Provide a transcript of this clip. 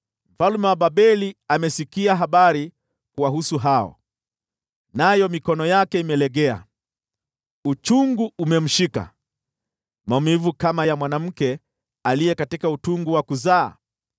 Mfalme wa Babeli amesikia habari kuwahusu, nayo mikono yake imelegea. Uchungu umemshika, maumivu kama ya mwanamke katika utungu wa kuzaa.